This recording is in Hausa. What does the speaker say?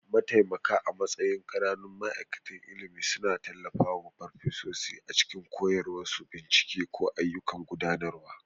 Mataimaka a matsayin ƙananun ma'aikatan ilimi suna tallafawa farfesa a cikin koyarwa, bincike, ko ayyukan gudanarwa.